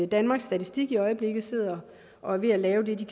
danmarks statistik i øjeblikket sidder og er ved at lave et